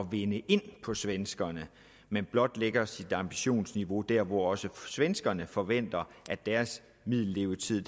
vinde ind på svenskerne men blot lægger sit ambitionsniveau der hvor også svenskerne forventer at deres middellevetid